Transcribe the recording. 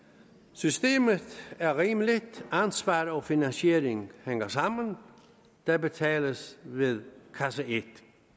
systemet er rimeligt ansvar og finansiering hænger sammen der betales ved kasse et